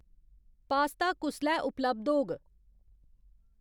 Pasta कुसलै उपलब्ध होग ?